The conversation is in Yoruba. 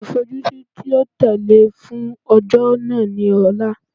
Olufojusi ti o tẹle fun ọjọ naa ni Ọla